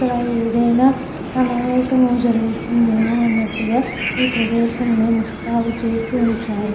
ఇక్కడ ఏదైనా సమావేశం జరుగుతుంది ఏమో అన్నట్టుగా ఈ ప్రదేశంని ముస్తాబు చేసి ఉంచారు.